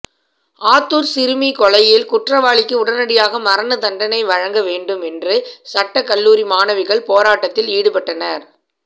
ஆத்தூர் சிறுமி கொலையில் குற்றவாளிக்கு உடனடியாக மரண தண்டனை வழங்க வேண்டும் என்று சட்ட கல்லூரி மாணவிகள் போராட்டத்தில் ஈடுபட்டனர்